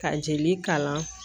Ka jeli kalan